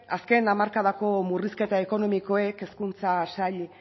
azken hamarkadako murrizketa ekonomikoek hezkuntza sail